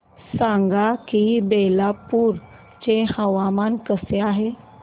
सांगा की बिलासपुर चे हवामान कसे आहे